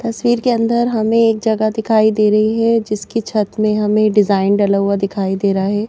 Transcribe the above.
तस्वीर के अंदर हमें एक जगह दिखाई दे रही है जिसकी छत में हमें डिजाइन डला हुआ दिखाई दे रहा है।